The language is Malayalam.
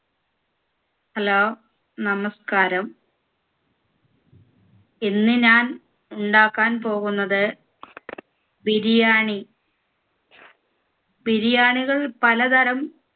Hello നമസ്കാരം ഇന്ന് ഞാൻ ഉണ്ടാക്കാൻ പോകുന്നത് ബിരിയാണി ബിരിയാണികൾ പല തരം